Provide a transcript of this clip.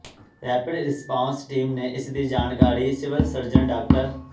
rapid response team ਨੇ ਇਸ ਦੀ ਜਾਣਕਾਰੀ ਸਿਵਲ ਸਰਜਨ ਡਾ